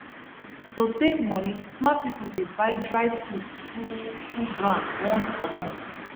to save money smart people dey buy dry food full full ground once for month